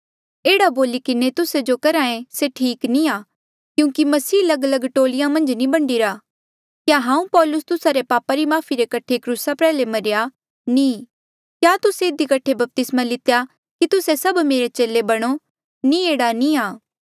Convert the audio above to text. एह्ड़ा बोली किन्हें तुस्से जो करहे से ठीक नी आ क्योंकि मसीह लगलग टोलिया मन्झ नी बंढीरा क्या हांऊँ पौलुस तुस्सा रे पापा री माफ़ी रे कठे क्रूसा प्रयाल्हे मरेया नी क्या तुस्से इधी कठे बपतिस्मा लितेया की तुस्से सब मेरे चेले बणो नी एह्ड़ा नी आ